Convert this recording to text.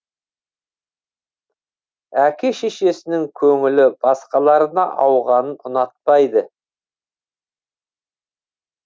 әке шешесінің көңілі басқаларына ауғанын ұнатпайды